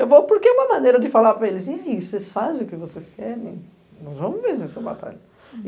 Eu vou porque é uma maneira de falar para eles, e aí, vocês fazem o que vocês querem, nós vamos vencer essa batalha.